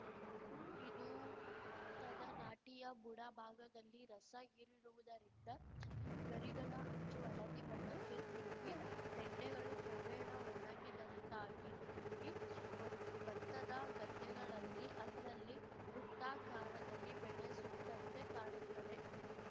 ಇದು ಬತ್ತದ ನಾಟಿಯ ಬುಡ ಭಾಗದಲ್ಲಿ ರಸ ಹೀರುವುದರಿಂದ ಗರಿಗಳ ಅಂಚು ಹಳದಿ ಬಣ್ಣಕ್ಕೆ ತಿರುಗಿ ತೆಂಡೆಗಳು ಕ್ರಮೇಣ ಒಣಗಿದಂತಾಗಿ ಗಿ ಒ ಬತ್ತದ ಗದ್ದೆಗಳಲ್ಲಿ ಅಲ್ಲಲ್ಲಿ ವೃತ್ತಾಕಾರದಲ್ಲಿ ಬೆಳೆ ಸುಟ್ಟಂತೆ ಕಾಣುತ್ತದೆ